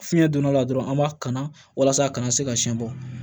Fiɲɛ donna dɔrɔn an b'a kana walasa a kana se ka siɲɛ bɔ